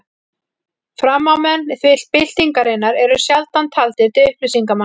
Framámenn byltingarinnar eru sjaldan taldir til upplýsingarmanna.